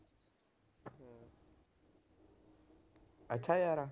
ਅੱਛਾ ਯਾਰ